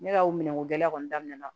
Ne ka o minɛnko gɛlɛya kɔni daminɛna